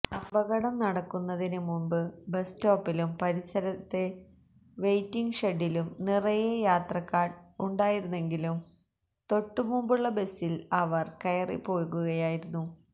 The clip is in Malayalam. അപകടം നടക്കുന്നതിന് മുമ്പ് ബസ് സ്റ്റോപ്പിലും പരിസരത്തെ വെയിറ്റിംഗ് ഷെഡിലും നിറയെ യാത്രക്കാർ ഉണ്ടായിരുന്നെങ്കിലും തൊട്ടുമുമ്പുള്ള ബസിൽ അവർ കയറിപ്പോകുകയായിരുന്നു